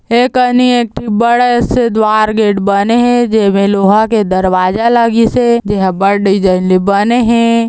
एकनई एक थी बड़े से द्वार गेट बने हे जेमे लोहा के दरवाजा लगिसे जेहा बड़ दिसाइन ले बने हे।